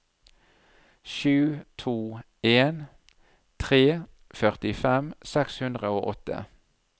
sju to en tre førtifem seks hundre og åtte